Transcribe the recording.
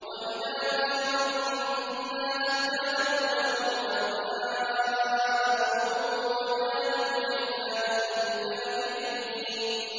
وَإِذَا حُشِرَ النَّاسُ كَانُوا لَهُمْ أَعْدَاءً وَكَانُوا بِعِبَادَتِهِمْ كَافِرِينَ